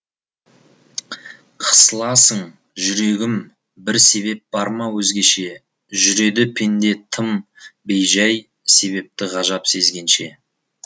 қысыласың жүрегім бір себеп бар ма өзгеше жүреді пенде тым бейжәй себепті ғажап сезгенше